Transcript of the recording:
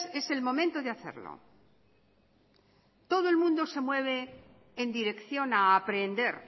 es el momento de hacerlo todo el mundo se mueve en dirección a aprender